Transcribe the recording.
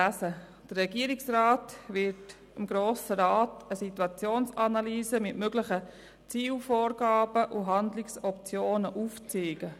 Der Regierungsrat wird dem Grossen Rat eine Situationsanalyse mit möglichen Zielvorgaben und Handlungsoptionen aufzeigen.